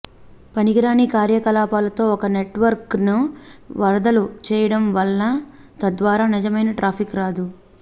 పనికిరాని కార్యకలాపాలతో ఒక నెట్వర్క్ను వరదలు చేయడం వలన తద్వారా నిజమైన ట్రాఫిక్ రాదు